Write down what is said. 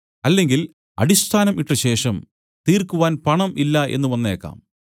അല്ലെങ്കിൽ അടിസ്ഥാനം ഇട്ടശേഷം തീർക്കുവാൻ പണം ഇല്ല എന്നു വന്നേക്കാം